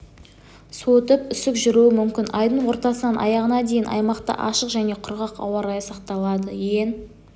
суытып үсік жүруі мүмкін айдың ортасынан аяғына дейін аймақта ашық және құрғақ ауа-райы сақталады ең